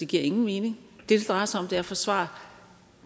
giver ingen mening det det drejer sig om er at forsvare